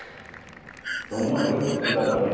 Então, uma grande dificuldade também.